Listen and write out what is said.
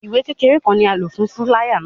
Iwe kekere kan ni a lo fun filaya náa